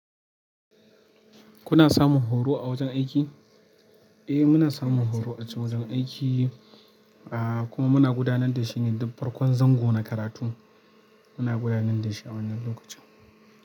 Kuna samun horo a wajen aiki? Eh muna samun horo a chan wajen aiki, ah kuma muna gudanar da shine duk farkon zango na karatu. Muna gudanar da shi a wannan lokacin.